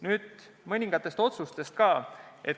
Nüüd mõningatest otsustest.